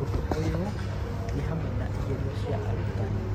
Ũndũ ũyũ nĩ hamwe na igerio cia arutani.